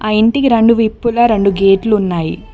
ఆ ఇంటికి రెండు విప్పులా రెండు గేట్లు ఉన్నాయి.